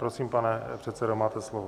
Prosím, pane předsedo, máte slovo.